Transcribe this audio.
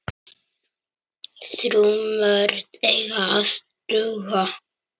Þrjú mörk eiga að duga.